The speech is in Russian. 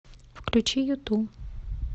включи юту